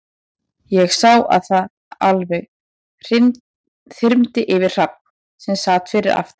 Ég sá að það alveg þyrmdi yfir Hrafn, sem sat fyrir aftan